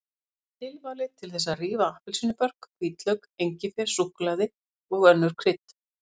Það er tilvalið til þess að rífa appelsínubörk, hvítlauk, engifer, súkkulaði og önnur krydd.